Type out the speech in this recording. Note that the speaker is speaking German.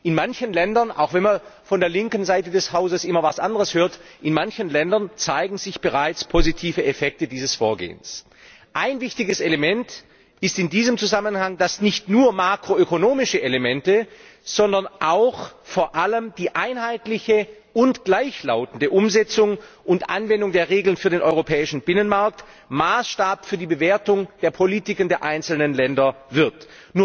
In manchen Ländern auch wenn man von der linken Seite des Hauses immer etwas anderes hört zeigen sich bereits positive Effekte dieses Vorgehens. Ein wichtiges Element ist in diesem Zusammenhang, dass nicht nur makroökonomische Elemente, sondern vor allem auch die einheitliche und gleichlautende Umsetzung und Anwendung der Regeln für den europäischen Binnenmarkt zum Maßstab für die Bewertung der Politiken der einzelnen Länder werden.